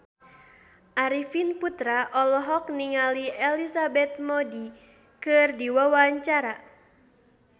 Arifin Putra olohok ningali Elizabeth Moody keur diwawancara